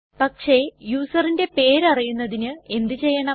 പക്ഷെ userന്റെ പേര് അറിയുന്നതിന് എന്ത് ചെയ്യണം